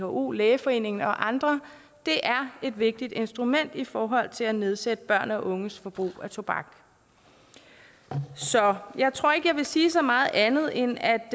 who lægeforeningen og andre et vigtigt instrument i forhold til at nedsætte børn og unges forbrug af tobak så jeg tror ikke jeg vil sige så meget andet end at